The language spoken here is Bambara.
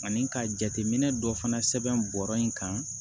Ani ka jateminɛ dɔ fana sɛbɛn bɔrɔ in kan